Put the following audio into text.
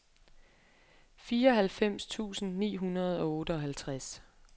fireoghalvfems tusind ni hundrede og otteoghalvtreds